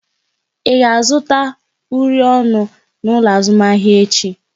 Ị ga-azụta uri ọnụ n'ụlọ azụmahịa echi?